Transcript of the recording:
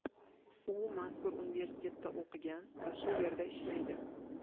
U mazkur universitetda o‘qigan va shu yerda ishlaydi.